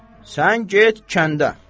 Sən get kəndə.